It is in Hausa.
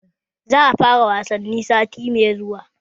Za'a fara wasannin sati mai zuwa